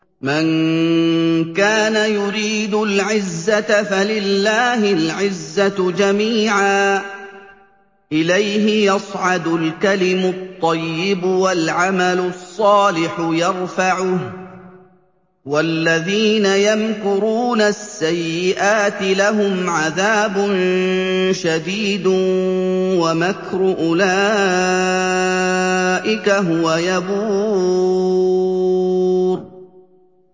مَن كَانَ يُرِيدُ الْعِزَّةَ فَلِلَّهِ الْعِزَّةُ جَمِيعًا ۚ إِلَيْهِ يَصْعَدُ الْكَلِمُ الطَّيِّبُ وَالْعَمَلُ الصَّالِحُ يَرْفَعُهُ ۚ وَالَّذِينَ يَمْكُرُونَ السَّيِّئَاتِ لَهُمْ عَذَابٌ شَدِيدٌ ۖ وَمَكْرُ أُولَٰئِكَ هُوَ يَبُورُ